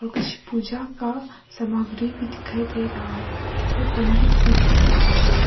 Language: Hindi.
कुछ पूजा का सामग्री भी दिखाई दे रहा है और पंडित भी दिख रहा है।